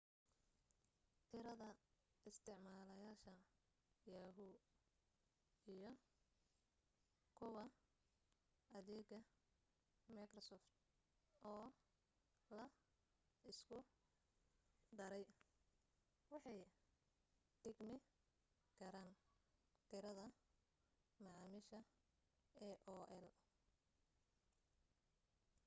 tirada isticmaalayaasha yahoo iyo kuwa adeega microsoft oo la isku daray waxay u dhigmi karaan tirada macaamiisha aol